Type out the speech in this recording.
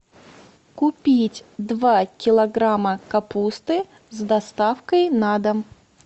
купить два килограмма капусты с доставкой на дом